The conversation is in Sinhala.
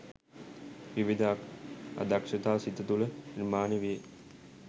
විවිධ අදක්‍ෂතා සිත තුළ නිර්මාණය වේ.